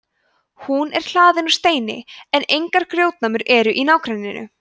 hún er hlaðin úr steini en engar grjótnámur eru í nágrenninu